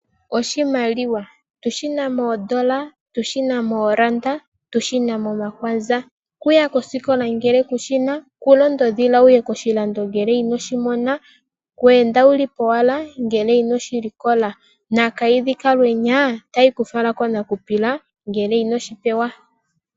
Oshimaliwa tushina moondola, tushina mooranda, tushina momakwanza, kuya kosikola ngele kushina, kulonda odhila wuye koshilando ngele inoshimona, kweenda wuli powala ngele inoshilikola. Nakayidhi kalwenyaa tayikufala konakupila ngele inoshipewa.